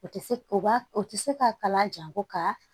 O tɛ se o b'a o tɛ se ka kala jan ko ka